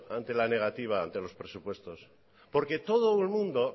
ante la negativa de los presupuestos porque todo el mundo